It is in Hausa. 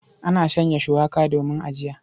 Ana shanya shuwaka domin ajiya.